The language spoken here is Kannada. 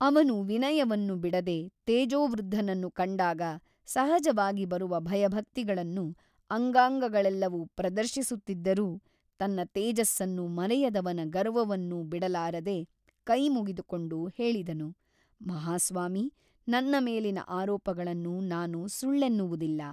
ಅವನು ವಿನಯವನ್ನು ಬಿಡದೆ ತೇಜೋವೃದ್ಧನನ್ನು ಕಂಡಾಗ ಸಹಜವಾಗಿ ಬರುವ ಭಯಭಕ್ತಿಗಳನ್ನು ಅಂಗಾಂಗಳೆಲ್ಲವೂ ಪ್ರದರ್ಶಿಸುತ್ತಿದ್ದರೂ ತನ್ನ ತೇಜಸ್ಸನ್ನು ಮರೆಯದವನ ಗರ್ವವನ್ನೂ ಬಿಡಲಾರದೆ ಕೈಮುಗಿದುಕೊಂಡು ಹೇಳಿದನು ಮಹಸ್ವಾಮಿ ನನ್ನ ಮೇಲಿನ ಆರೋಪಗಳನ್ನು ನಾನು ಸುಳ್ಳೆನ್ನುವುದಿಲ್ಲ.